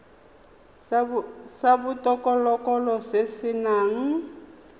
sa botokololo se se nang